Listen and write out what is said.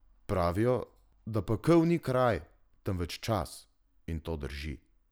Pravijo, da pekel ni kraj, temveč čas, in to drži.